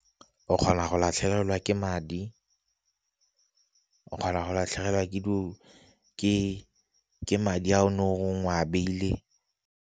O kgona go latlhegelwa ke madi, o kgona go latlhegelwa ke madi a o ne o re o a beile.